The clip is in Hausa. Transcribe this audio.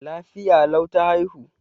Lafiya lau ta haihu.